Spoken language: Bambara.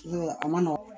A ma nɔgɔn